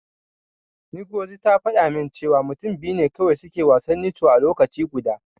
Ngozi ta faɗa min cewa mutum biyu ne kawai suke yin wasan Ncho a lokaci guda.